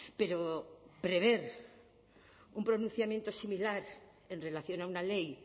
pero prever un pronunciamiento similar en relación a una ley